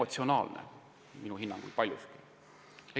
See on minu hinnangul paljuski emotsionaalne.